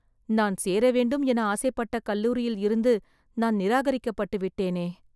நான் சேர வேண்டும் என ஆசைப்பட்ட கல்லூரியில் இருந்து நான் நிராகரிக்க பட்டுவிட்டேனே!